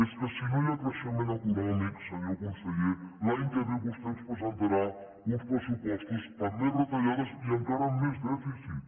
és que si no hi ha creixement econòmic senyor conseller l’any que ve vostè ens presentarà uns pressupostos amb més retallades i encara amb més dèficit